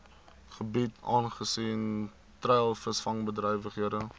gebiede aangesien treilvisvangbedrywighede